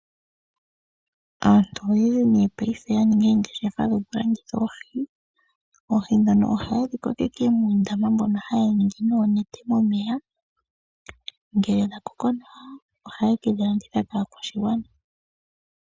Aantu oyendji nee pethimbo lyo ngaashingeyi oya ninga oongeshefa dhowo dhoku landitha oohi. Oohi dhono ohaye dhi kokeke moondama nongele dha koko oha ye kedhi landitha po nee yamone mosha sho mondjato.